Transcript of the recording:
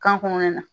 Kan kɔnɔna na